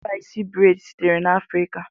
Ikpa isi breid sitere na Afrika.